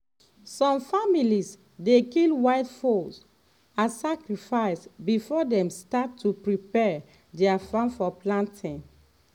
some families dey kill white fowl as sacrifice before dem start to prepare their farm for planting.